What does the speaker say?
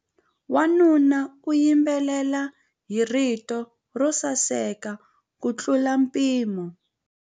Wanuna u yimbelela hi rito ro saseka kutlula mpimo.